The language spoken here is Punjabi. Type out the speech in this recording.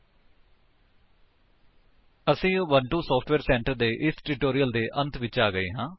ਲਟਪੌਸੈਗਟ ਅਸੀ ਉਬੁੰਟੂ ਸੋਫਟਵੇਅਰ ਸੈਂਟਰ ਦੇ ਇਸ ਟਿਊਟੋਰਿਅਲ ਦੇ ਅੰਤ ਵਿੱਚ ਆ ਗਏ ਹਾਂ